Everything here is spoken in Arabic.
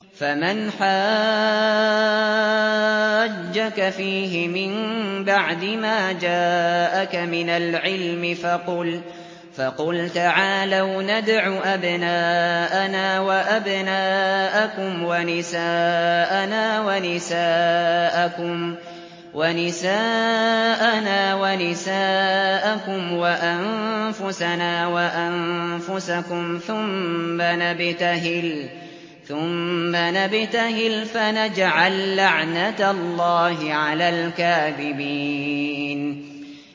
فَمَنْ حَاجَّكَ فِيهِ مِن بَعْدِ مَا جَاءَكَ مِنَ الْعِلْمِ فَقُلْ تَعَالَوْا نَدْعُ أَبْنَاءَنَا وَأَبْنَاءَكُمْ وَنِسَاءَنَا وَنِسَاءَكُمْ وَأَنفُسَنَا وَأَنفُسَكُمْ ثُمَّ نَبْتَهِلْ فَنَجْعَل لَّعْنَتَ اللَّهِ عَلَى الْكَاذِبِينَ